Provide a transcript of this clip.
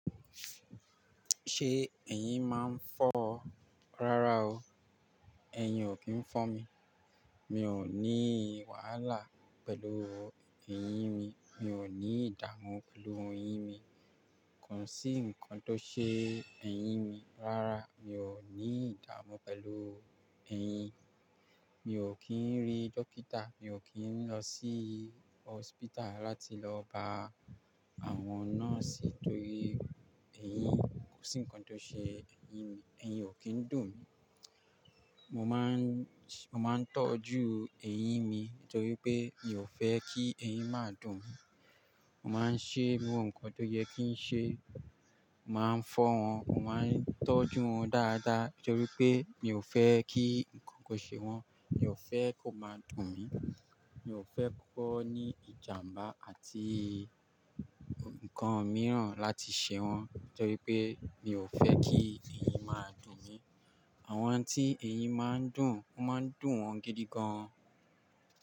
Ṣé eyín máa ń fọ́ ọ? Rárá o, eyín ò kí ń fọ́n mi. Mi ò ní wàhálà pẹ̀lú eyín mi, mi ò ní ìdààmú pẹ̀lú eyín mi. Kò sí nǹkan tó ṣe eyín mi. Rárá, mi ò ní ìdààmú pẹ̀lú eyín, mi ò kí ń rí dókítà, mi ò kí ń lọ sí hospital láti lọ bá àwọn nurse torí eyín. Kò sí nǹkan tó ṣe eyín mi. Eyín ò kí ń dùn mí. Mo máa ń, mo máa ń tọ́jú eyín mi nítorí pé mi ò fẹ́ kí eyín máa dùn mí. Mo máa ń ṣe irú nǹkan tó yẹ kí n ṣe, mo máa ń fọ́ wọn, mo máa ń tọ́jú wọn dáadáa nítorí pé mi ò fẹ́ kí nǹkan kò ṣe wọn, mi ò fẹ́ kó máa dùn mí, mi ò fẹ́ kó ní ìjàmbá àti nǹkan mìíràn láti ṣe wọn nítorí pé mi ò fẹ́ kí eyín máa dùn mí. Àwọn tí eyín máa ń dùn, ó máa ń dùn wọn gidi gan.